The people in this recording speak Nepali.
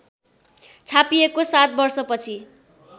छापिएको ७ वर्षपछि